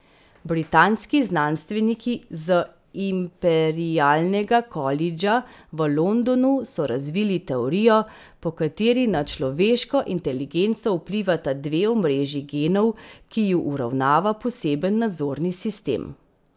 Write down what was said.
Britanski znanstveniki z Imperialnega kolidža v Londonu so razvili teorijo, po kateri na človeško inteligenco vplivata dve omrežji genov, ki ju uravnava poseben nadzorni sistem.